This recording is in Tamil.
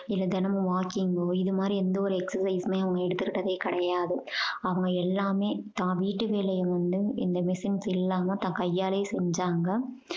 இல்ல தினமும் walking ஒ இது மாதிரி எந்த ஒரு exercise யுமே அவங்க எடுத்துக்கிட்டதே கிடையாது அவங்க எல்லாமே தான் வீட்டு வேலைய வந்து இந்த machines இல்லாம தன் கையாலே செஞ்சாங்க